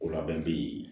O labɛn te yen